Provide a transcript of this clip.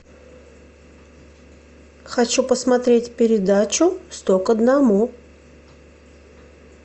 хочу посмотреть передачу сто к одному